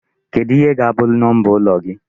Kedụ ihe ga-abụ number ụlọ gị?